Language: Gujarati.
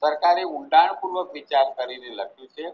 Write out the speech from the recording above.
સરકારે ઊંડાણ પૂર્વક વિચાર કરીને લખ્યું છે